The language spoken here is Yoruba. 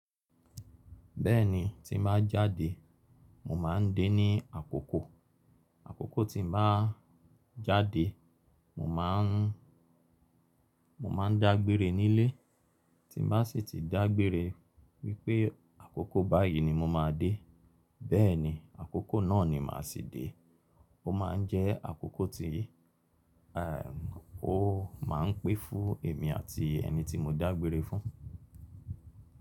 Bẹ́ẹ̀ni, tí mo bá jáde, mo máa ń dé ní àkókò. Àkókò tí mo bá jáde, mo má a ń, mo máa ń dágbére nílé. Tí mo bá sì ti dágbére wípé àkókò báyìí ni mo máa dé. Bẹ́ẹ̀ni, àkókò náà ni màá si dé. Ó máa ń jẹ́ àkókò tí, ẹm, ó máa ń pẹ́ fún èmi àti ẹni tí mo dágbére fún.